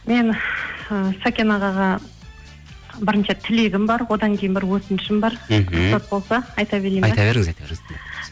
мен сәкен ағаға бірінші тілегім бар одан кейін бір өтінішім бара мхм рұқсат болса айта берейін бе айта беріңіз айта беріңіз